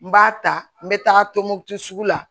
N b'a ta n bɛ taga tombouctou sugu la